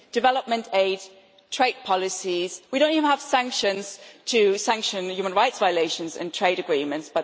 Development aid, trade policies, we do not even have sanctions to sanction the human rights violations in trade agreements.